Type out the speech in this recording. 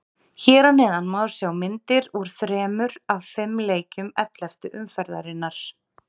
Hér að neðan má sjá myndir úr þremur af fimm leikjum elleftu umferðarinnar.